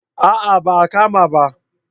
A'a ba a kama ba